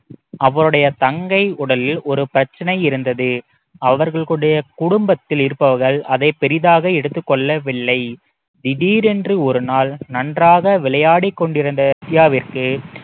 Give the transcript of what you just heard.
அவருடைய தங்கை உடலில் ஒரு பிரச்சனை இருந்தது அவர்களுடைய குடும்பத்தில் இருப்பவர்கள் அதை பெரிதாக எடுத்துக் கொள்ளவில்லை திடீரென்று ஒரு நாள் நன்றாக விளையாடிக் கொண்டிருந்த வித்தியாவிற்கு